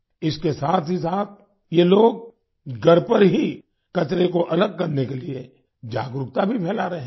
इसके साथ ही साथ ये लोग घर पर ही कचरे को अलग करने के लिए जागरूकता भी फैला रहे हैं